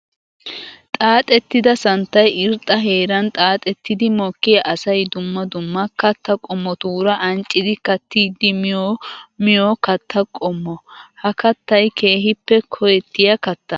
Xaaxxettidda santtay irxxa heeran xaaxettiddi mokkiya asay dumma dumma katta qommotura ancciddi kattiddi miyo miyo katta qommo. Ha kattay keehippe koyetiya kattaa.